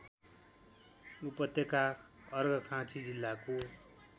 उपत्यका अर्घाखाँची जिल्लाको